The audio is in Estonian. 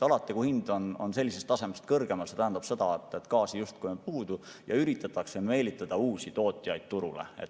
Alati, kui hind on sellisest tasemest kõrgemal, tähendab see seda, et gaasi on justkui puudu ja üritatakse meelitada uusi tootjaid turule.